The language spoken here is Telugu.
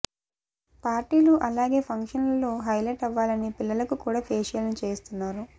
పార్టీలు అలాగే ఫంక్షన్ లలో హైలైట్ అవ్వాలని పిల్లలకు కూడా ఫేషియల్ ను చేయిస్తున్నారు